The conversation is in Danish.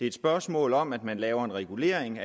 et spørgsmål om at man laver en regulering